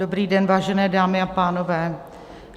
Dobrý den, vážené dámy a pánové.